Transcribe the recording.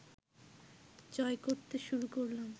জয় করতে শুরু করলাম